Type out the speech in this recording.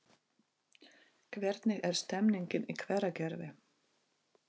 Hvernig er stemningin í Hveragerði?